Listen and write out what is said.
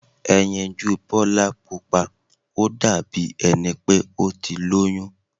Ẹyinjú Bọ́lá Pupa ó dàbí ẹni pé ó ti lóyún.